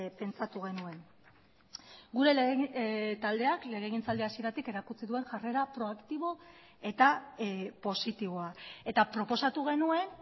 pentsatu genuen gure taldeak legegintzaldia hasieratik erakutsi duen jarrera proaktibo eta positiboa eta proposatu genuen